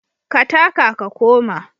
Ka taka ka koma.